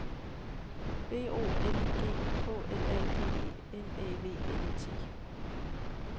B O L I G K L A G E N Æ V N E T